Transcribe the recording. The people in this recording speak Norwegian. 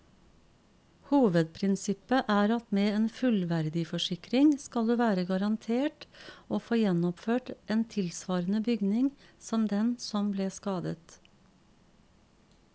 Hovedprinsippet er at med en fullverdiforsikring skal du være garantert å få gjenoppført en tilsvarende bygning som den som ble skadet.